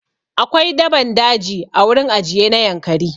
Akwai daban daji a wurin ajiye na Yankari.